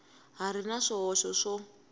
ha ri na swihoxo swo